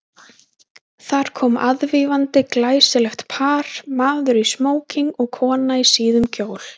Þar kom aðvífandi glæsilegt par, maður í smóking og kona í síðum kjól.